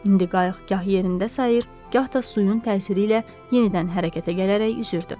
İndi qayıq gah yerində sayır, gah da suyun təsiri ilə yenidən hərəkətə gələrək üzürdü.